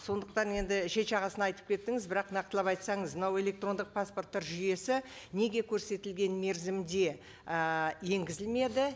сондықтан енді шет жағасын айтып кеттіңіз бірақ нақтылап айтсаңыз мынау электрондық паспорттар жүйесі неге көрсетілген мерзімде і енгізілмеді